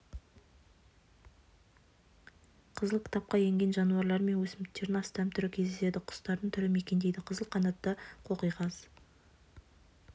қызыл кітапқа енген жануарлар мен өсімдіктердің астам түрі кездеседі құстардың түрі мекендейді қызыл қанатты қоқиқаз